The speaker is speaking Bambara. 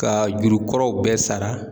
Ka juru kɔrɔw bɛɛ sara